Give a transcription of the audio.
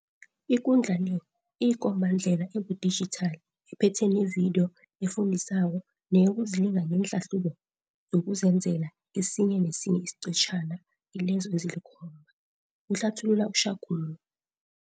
Ikundla le iyikombandlela ebudijithali ephethe nevidiyo efundisako neyokuzilinga ngeenhlahlubo zokuzenzela kesinye nesinye isiqetjhana kilezo ezilikhomba, kuhlathulula u-Shakung.